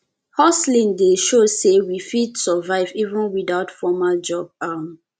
hustling dey show sey we fit survive even without formal job um